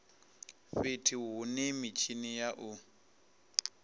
fhethu hune mitshini ya u